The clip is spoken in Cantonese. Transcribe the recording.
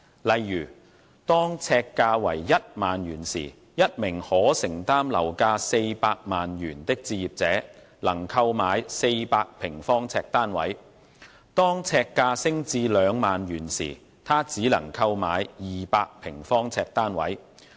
例如，當呎價為1萬元時，一名可承擔樓價400萬元的置業者能購買400平方呎單位；當呎價升至兩萬元時，他只能購買200平方呎單位。